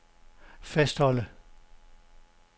fastholde